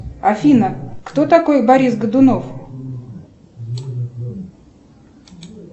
афина кто такой борис годунов